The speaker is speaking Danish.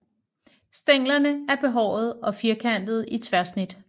Stænglerne er behårede og firkantede i tværsnit